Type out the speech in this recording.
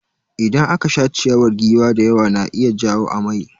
Idan aka sha ciyawar giwa da yawa na iya jawo amai.